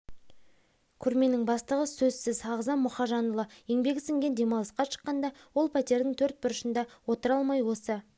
көрменің бастығы сөзсіз ағзам мұхажанұлы еңбегі сіңген демалысқа шыққанда ол пәтердің төрт бұрышында отыра алмай осы